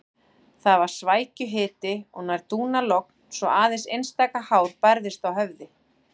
Það var svækjuhiti og nær dúnalogn svo aðeins einstaka hár bærðist á höfði.